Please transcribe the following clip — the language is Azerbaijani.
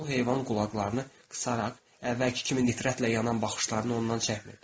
Bu heyvan qulaqlarını qısaraq əvvəlki kimi nifrətlə yanan baxışlarını ondan çəkmirdi.